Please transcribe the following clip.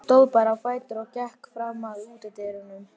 Stóð bara á fætur og gekk fram að útidyrunum.